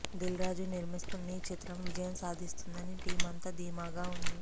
దిల్ రాజు నిర్మిస్తున్న ఈ చిత్రం విజయం సాధిస్తుందని టీమ్ అంతా ధీమాగా ఉంది